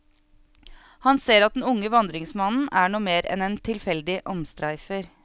Han ser at den unge vandringsmannen er noe mer enn en tilfeldig omstreifer.